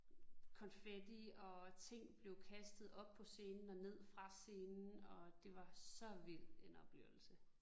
Konfetti og ting blev kastet op på scenen og ned fra scenen og det var så vild en oplevelse